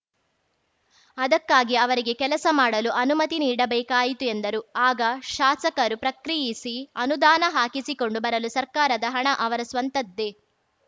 ಅದಕ್ಕಾಗಿ ಅವರಿಗೆ ಕೆಲಸ ಮಾಡಲು ಅನುಮತಿ ನೀಡಬೇಕಾಯಿತು ಎಂದರು ಆಗ ಶಾಸಕರು ಪ್ರಕ್ರಿಯಿಸಿ ಅನುದಾನ ಹಾಕಿಸಿಕೊಂಡು ಬರಲು ಸರ್ಕಾರದ ಹಣ ಅವರ ಸ್ವಂತದ್ದೇ